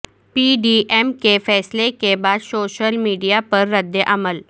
پی D M کے فیصلے کے بعد سوشل میڈیا پر رد عمل